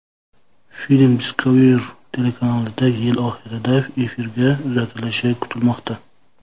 Film Discovery telekanalida yil oxirida efirga uzatilishi kutilmoqda.